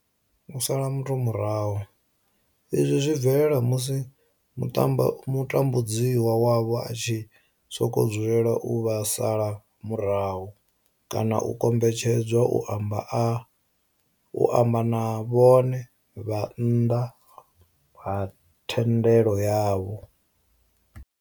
U sala muthu murahu, izwi zwi bvelela musi mutambudzi wavho a tshi sokou dzulela u vha sala murahu kana u kombetshedzwa u amba na vhone vha nnḓa ha thendelo yavho.